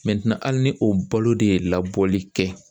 hali ni o balo de ye labɔli kɛ